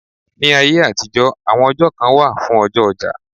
Ní ayé àtijọ́, àwọn ọjọ́ kan wà fún ọjọ́ ọjà.